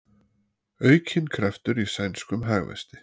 Aukinn kraftur í sænskum hagvexti